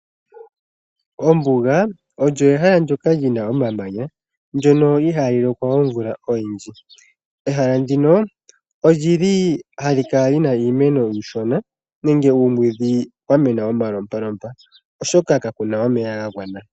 Ombuga olyo ehala ndyoka lina omamanya, ndyono ihali lokwa omvula oyindji. Ehala ndino, olili hali kala lina iimeno iishona nenge uumwiidhi wa mena omalopalopa oshoka kapena omeya ga gwana.